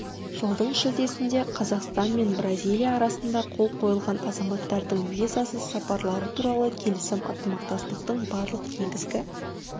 жылдың шілдесінде қазақстан мен бразилия арасында қол қойылған азаматтардың визасыз сапарлары туралы келісім ынтымақтастықтың барлық негізгі